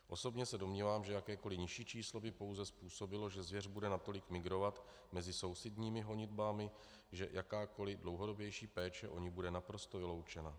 Osobně se domnívám, že jakékoli nižší číslo by pouze způsobilo, že zvěř bude natolik migrovat mezi sousedními honitbami, že jakákoli dlouhodobější péče o ni bude naprosto vyloučena.